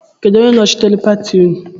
Kedụ onye nochitere pati nnu?